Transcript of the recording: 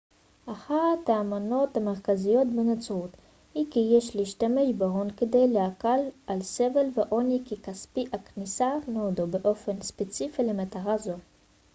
אחת האמונות המרכזיות בנצרות היא כי יש להשתמש בהון כדי להקל על סבל ועוני וכי כספי הכנסיה נועדו באופן ספציפי למטרה זו